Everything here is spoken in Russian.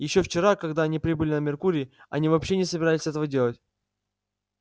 ещё вчера когда они прибыли на меркурий они вообще не собирались этого делать